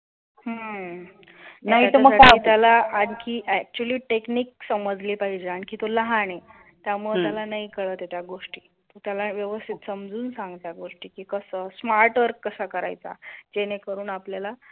हम्म नाहीतर मग आपल्याला आणखी actually technique समजली पाहिजे आणखीन तो लहान आहे, त्यामुळे त्याला नाही कळत नाही त्या गोष्टी त्याला व्यवस्थित समजून सांग त्या गोष्टीची कसं स्मार्ट वर्क कसा करायचा जेणेकरून आपल्याला